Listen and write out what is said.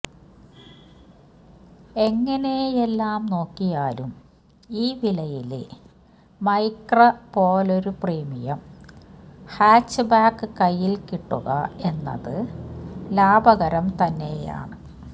എങ്ങനെയെല്ലാം നോക്കിയാലും ഈ വിലയില് മൈക്ര പോലൊരു പ്രീമിയം ഹാച്ച്ബാക്ക് കയ്യില് കിട്ടുക എന്നത് ലാഭകരം തന്നെയാണ്